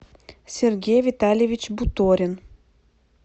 сергей витальевич буторин